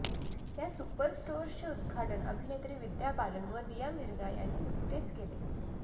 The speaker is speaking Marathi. या सुपर स्टोअर्सचे उद्घाटन अभिनेत्री विद्या बालन व दिया मिर्झा यांनी नुकतेच केले